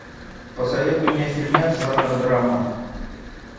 посоветуй мне фильмец жанра драма